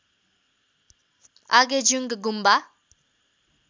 Agejung Gumba